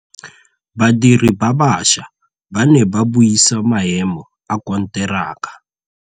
Badiri ba baša ba ne ba buisa maêmô a konteraka.